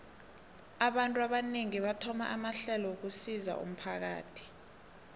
abantu abanengi bathoma amahlelo wokusizo umphakathi